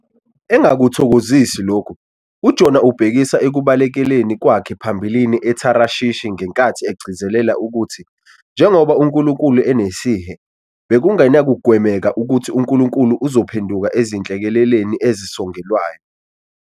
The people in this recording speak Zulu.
Engakuthokozisi lokhu, uJona ubhekisa ekubalekeleni kwakhe phambilini eTharishishi ngenkathi egcizelela ukuthi, njengoba uNkulunkulu enesihe, bekungenakugwemeka ukuthi uNkulunkulu uzophenduka ezinhlekeleleni ezisongelwayo.